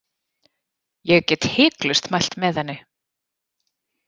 Ég get hiklaust mælt með henni.